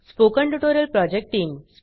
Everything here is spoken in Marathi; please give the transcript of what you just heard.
spoken tutorial project team